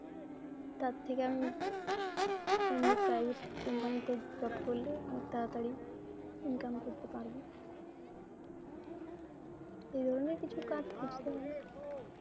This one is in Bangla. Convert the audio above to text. তার থেকে আমি, এমনি private company তে job করলে অনেক তাড়াতাড়ি income করতে পারব, এই ধরনের কিছু কাজ খুজতে হবে